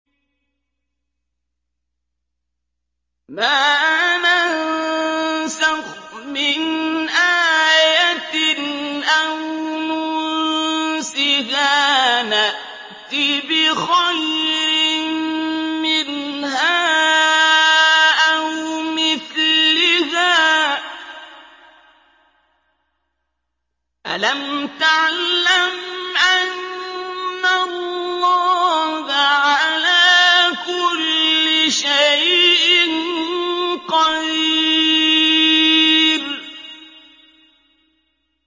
۞ مَا نَنسَخْ مِنْ آيَةٍ أَوْ نُنسِهَا نَأْتِ بِخَيْرٍ مِّنْهَا أَوْ مِثْلِهَا ۗ أَلَمْ تَعْلَمْ أَنَّ اللَّهَ عَلَىٰ كُلِّ شَيْءٍ قَدِيرٌ